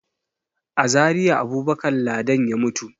A Zariya Abubakar Ladan ya mutu.